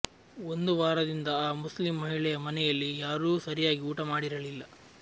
ಒಂದು ವಾರದಿಂದ ಆ ಮುಸ್ಲಿಂ ಮಹಿಳೆಯ ಮನೆಯಲ್ಲಿ ಯಾರೂ ಸರಿಯಾಗಿ ಊಟ ಮಾಡಿರಲಿಲ್ಲ